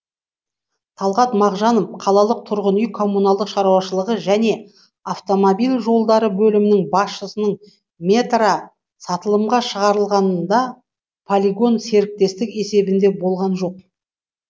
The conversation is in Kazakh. талғат мағжанов қалалық тұрғын үй коммуналдық шаруашылығы және автомобиль жолдары бөлімі басшысының метра сатылымға шығарылғанда полигон серіктестік есебінде болған жоқ